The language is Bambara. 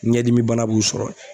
Ɲɛdimi bana b'u sɔrɔ.